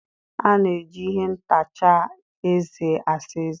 A na-eji ihe ntacha eze asa eze.